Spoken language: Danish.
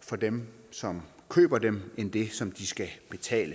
for dem som køber dem end det som de skal betale